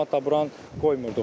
Camaat da buranı qoymurdıq.